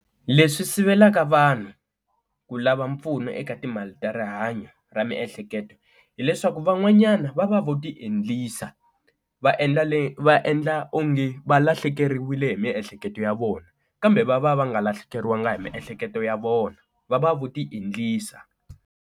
Leswi sivelaka vanhu ku lava mpfuno eka timali ta rihanyo ra miehleketo hileswaku van'wanyana va va vo ta endlisa va endla leswi va endla onge valahlekeriwile hi miehleketo ya vona kambe va va va nga lahlekeriwanga hi miehleketo ya vona va va vo ti endlisa.